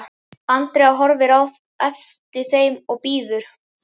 Andrea horfir á eftir þeim, biður